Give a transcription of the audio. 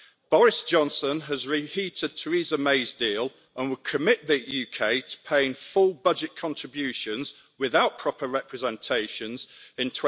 Boris Johnson has reheated Theresa May's deal and would commit the UK to paying full budget contributions, without proper representations, in